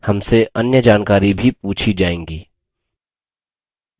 हमसे अन्य जानकारी भी पूछी जाएँगी